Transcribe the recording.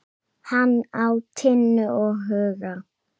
Hann á Tinnu og Huga.